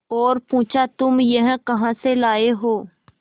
और पुछा तुम यह कहा से लाये हो